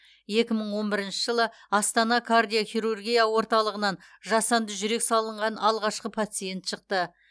екі мың он бірінші жылы астана кардиохирургия орталығынан жасанды жүрек салынған алғашқы пациент шықты